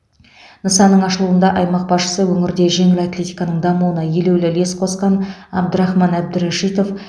нысанның ашылуында аймақ басшысы өңірде жеңіл атлетиканың дамуына елеулі үлес қосқан әбдрахман әбдірәшитов